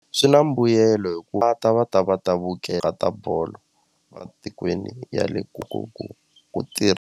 Swi na mbuyelo hikuva va ta va ta va ta va ta bolo ematikweni ya le ku ku ku tirha.